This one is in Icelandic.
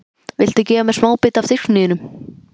Viltu gefa mér smábita af diskinum þínum?